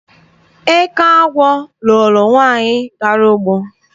Eke agwọ loro nwaanyị gara ugbo.